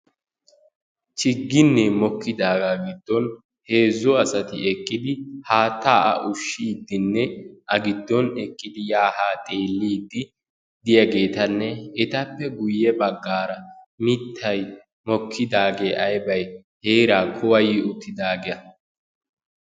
Chiginne mokkidaaga giddon heezzu asati eqqidi haattaa ushshiidinne a giddon eqqidi yaa haa xeelliddi diyagetanne etappe guyye baggaara mittay mokkidaage aybay heeraa kuwayi uttidaaga.